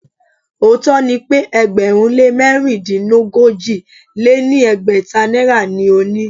Òótó ni pe ẹgbẹ̀rún lé mẹ̀rindínogójì lé ní ẹgbẹ́ta náírà ni o ni.